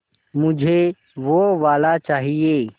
मुझे वो वाला चाहिए